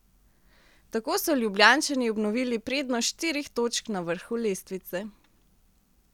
Tako so Ljubljančani obnovili prednost štirih točk na vrhu lestvice.